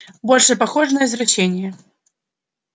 больше похоже на извращение